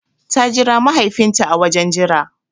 Ta jira mahaifin ta a wajen jira